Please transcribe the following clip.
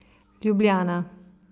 Ljubljana.